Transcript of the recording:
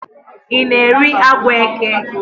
You na-eri agwọ eke?